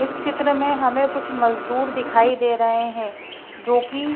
इस चित्र में हमें कुछ मजदूर दिखाई दे रहे हैं जो कि--